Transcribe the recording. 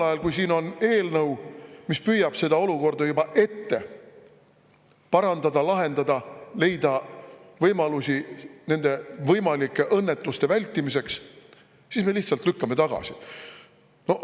Aga kui siin on eelnõu, mis püüab seda olukorda juba ette lahendada, leida võimalusi nende võimalike õnnetuste vältimiseks, siis me lihtsalt lükkame selle tagasi.